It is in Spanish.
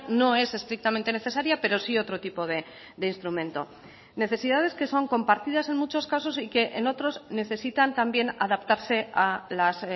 no es estrictamente necesaria pero sí otro tipo de instrumento necesidades que son compartidas en muchos casos y que en otros necesitan también adaptarse a las